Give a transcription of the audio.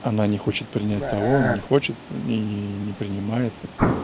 она не хочет принять того не хочет и не принимает